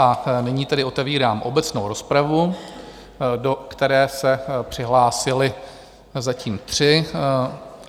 A nyní tedy otevírám obecnou rozpravu, do které se přihlásili zatím tři.